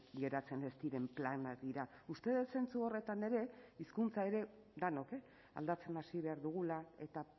geratzen ez diren planak dira uste dut zentzu horretan ere hizkuntza ere denok aldatzen hasi behar dugula eta